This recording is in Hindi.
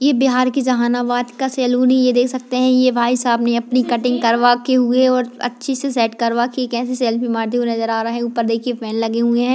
ये बिहार के जहानाबाद का सैलून है ये देख सकते हैं ये भाई साहब ने अपनी कटिंग करवाके हुए और अच्छे से सेट करवाके कैसे सेल्फ़ी मारते हुए नजर आ रहे हैं ऊपर देखिए फैन लगे हुए हैं।